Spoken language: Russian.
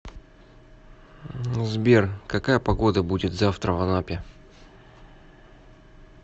сбер какая погода будет завтра в анапе